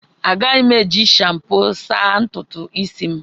Agaghị m eji shampo asa ntutu isi m.